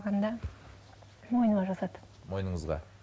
мойныма жасады мойныңызға